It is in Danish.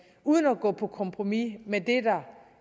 uden at gå på kompromis med det der